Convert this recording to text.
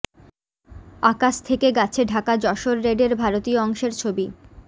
আকাশ থেকে গাছে ঢাকা যশোর রেডের ভারতীয় অংশের ছবি